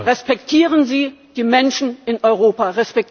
Respektieren Sie die Menschen in Europa.